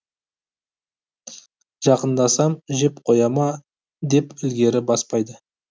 жақындасам жеп қоя ма деп ілгері баспайды